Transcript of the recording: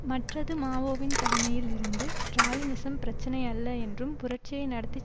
மற்றது மாவோவின் தலைமையில் இருந்து ஸ்ட்ராலினிசம் பிரச்சினை அல்ல என்றும் புரட்சியை நடத்தி